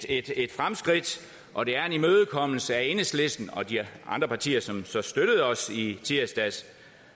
et et fremskridt og det er en imødekommelse af enhedslisten og de andre partier som så støttede os i tirsdags